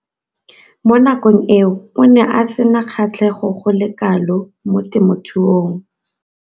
Mo nakong eo o ne a sena kgatlhego go le kalo mo temothuong.